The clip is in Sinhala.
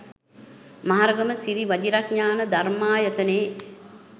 මහරගම සිරි වජිරඤාණ ධර්මායතනයේ